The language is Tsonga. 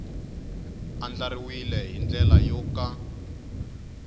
andlariwile hi ndlela yo ka